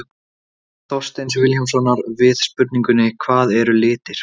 Svar Þorsteins Vilhjálmssonar við spurningunni Hvað eru litir?